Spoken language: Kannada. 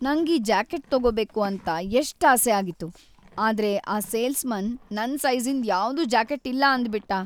ನಂಗ್ ಈ ಜಾಕೆಟ್ ತಗೋಬೇಕು ಅಂತ ಎಷ್ಟ್ ಆಸೆ ಆಗಿತ್ತು, ಆದ್ರೆ ಆ ಸೇಲ್ಸ್‌ಮನ್ ನನ್‌ ಸೈಜಿ಼ಂದ್ ಯಾವ್ದೂ ಜಾಕೆಟ್ ಇಲ್ಲ ಅಂದ್ಬಿಟ್ಟ.